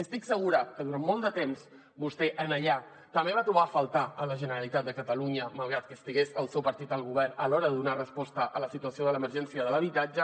estic segura que durant molt de temps vostè allà també va trobar a faltar la generalitat de catalunya malgrat que estigués el seu partit al govern a l’hora de donar resposta a la situació de l’emergència de l’habitatge